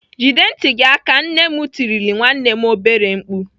"Jide ntị gị aka!" Nne m tirile nwanne m obere mkpu.